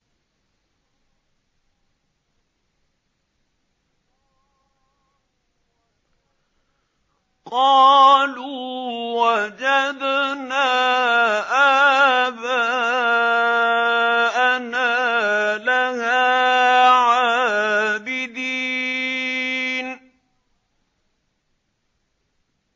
قَالُوا وَجَدْنَا آبَاءَنَا لَهَا عَابِدِينَ